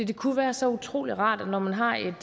det kunne være så utrolig rart når man har et